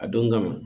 A don kama